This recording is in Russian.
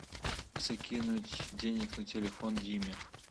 закинуть денег на телефон диме